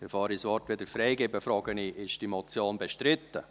Bevor ich das Wort wieder freigebe, frage ich: Ist die Motion bestritten?